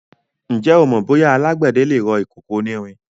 Ǹjẹ́ o mọ bóyá alágbẹ̀dẹ le rọ ìkòkò onírin?